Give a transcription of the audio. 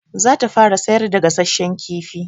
Za ta fara sayar da gasashshan kifi.